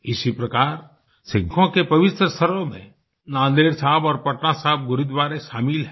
इसी प्रकार सिखों के पवित्र स्थलों में नांदेड़ साहिब और पटना साहिब गुरूद्वारे शामिल हैं